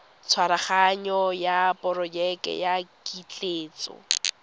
tshwaraganyo ya porojeke ya ketleetso